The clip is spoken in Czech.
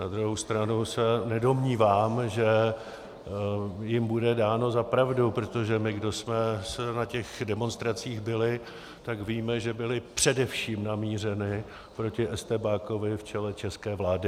Na druhou stranu se nedomnívám, že jim bude dáno za pravdu, protože my, kdo jsme na těch demonstracích byli, tak víme, že byly především namířeny proti estébákovi v čele české vlády.